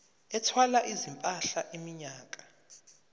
ethwala izimpahla iminyaka